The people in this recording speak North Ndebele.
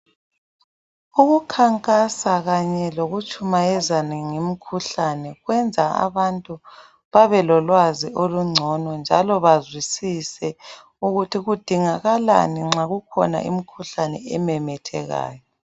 Ukukhankasa kanye lokutshumayezana ngemikhuhlane kwenza abantu babelolwazi olungcono njalo bazwisise ukuthi kudingakalani nxa kukhona imikhuhlane ememethekayo.